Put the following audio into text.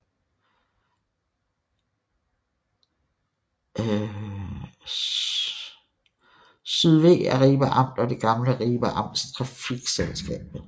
SYDV er Ribe Amt og det gamle Ribe Amts trafikselskab